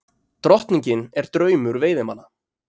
Drottningin er draumur veiðimanna